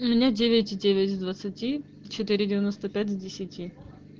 у меня девять и девять с двадцати четыре девяносто пять с десяти